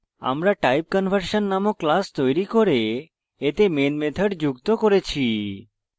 আমরা typeconversion নামক class তৈরি করে এতে main method যুক্ত করেছি